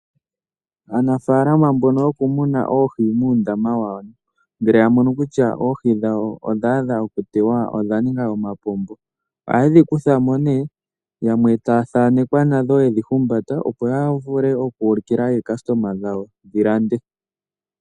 Aanafalama mbono yo kumuna oohi muundama wawo ngele yamono kutya oohi dhawo odhadha okuliwa odhaninga omapombo ohaye dhi kuthamo nee yamwe taya dhanekwa nadho yedhi humbata opo yavule okulikila aalandi yawo yalande.